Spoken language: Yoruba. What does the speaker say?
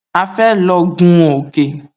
A fẹ́ lọ gún òkè